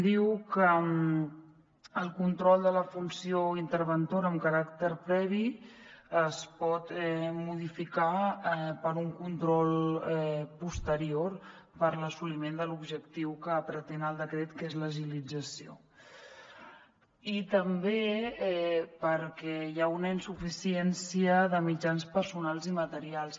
diu que el control de la funció interventora amb caràcter previ es pot modificar per un control posterior per l’assoliment de l’objectiu que pretén el decret que és l’agilització i també perquè hi ha una insuficiència de mitjans personals i materials